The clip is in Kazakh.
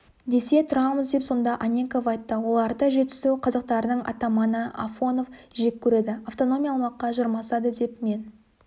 десе тұрамыз деп сонда анненков айтты оларды жетісу қазақтарының атаманы афонов жек көреді автономия алмаққа жармасады деп мен